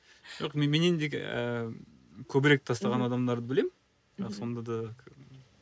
жоқ менендегі ііі көбірек тастаған адамдарды білемін бірақ сонда да